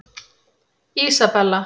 Ísabella